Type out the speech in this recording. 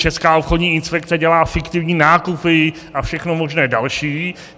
Česká obchodní inspekce dělá fiktivní nákupy a všechno možné další.